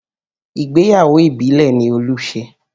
Ìgbéyàwó ìbílẹ̀ ni Olú ṣe